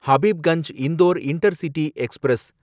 Habibganj Indore intercity express